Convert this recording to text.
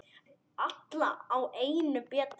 Alla á einu bretti.